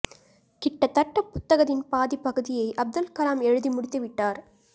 கிட்டத்தட்ட புத்தகத்தின் பாதி பகுதியை அப்துல் கலாம் எழுதி முடித்து விட்டார்